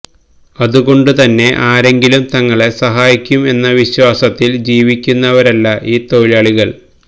അതുകൊണ്ട് തന്നെ ആരെങ്കിലും തങ്ങളെ സഹായിക്കും എന്ന വിശ്വാസത്തില് ജീവിയ്ക്കുന്നവരല്ല ഈ തൊഴിലാളികള്